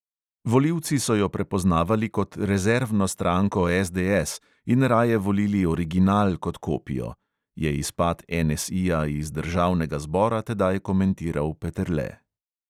"Volivci so jo prepoznavali kot rezervno stranko SDS in raje volili original kot kopijo," je izpad NSI-ja iz državnega zbora tedaj komentiral peterle.